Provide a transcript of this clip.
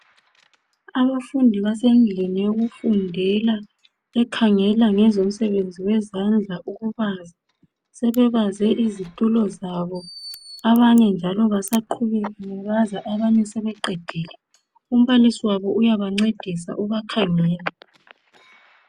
Abafundi basendlini yokufundela ekhangela ngezomsebenzi wezandla ukubaza. Sebebaze isitulo zabo . Abanye njalo basaqhubeka bebaza , abanye sebeqedile. Umbalisi wabo uyabancedisa, ubakhangele.